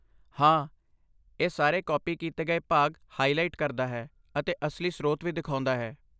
ਹਾਂ, ਇਹ ਸਾਰੇ ਕਾਪੀ ਕੀਤੇ ਗਏ ਭਾਗ ਹਾਇਲਾਇਟ ਕਰਦਾ ਹੈ ਅਤੇ ਅਸਲੀ ਸਰੋਤ ਵੀ ਦਿਖਾਉਂਦਾ ਹੈ।